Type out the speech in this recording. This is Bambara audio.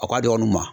A ka dɔgɔn ma